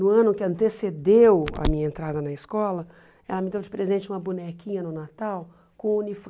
No ano que antecedeu a minha entrada na escola, ela me deu de presente uma bonequinha no Natal com